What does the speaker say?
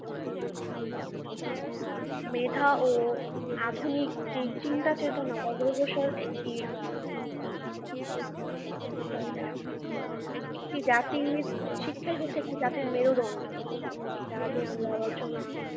মেধা ও আধুনিক চিন্তা চেতনার অগ্রসর একটি। সন্ধ্যা, একটি জাতির শিক্ষাই হচ্ছে একটি জাতির মেরুদণ্ড। এটা আগে আমরা আলোচনা